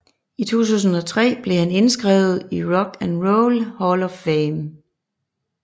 I 2003 blev han indskrevet i Rock and Roll Hall of Fame